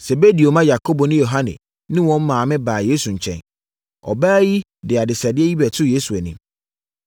Sebedeo mma Yakobo ne Yohane ne wɔn maame baa Yesu nkyɛn. Ɔbaa yi de adesrɛdeɛ bi bɛtoo Yesu anim.